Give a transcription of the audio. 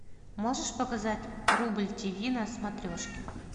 можешь показать рубль ти ви на смотрешке